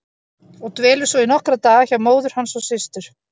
Og dvelur svo í nokkra daga hjá móður hans og systur.